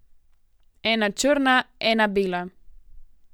Ena črna, ena bela.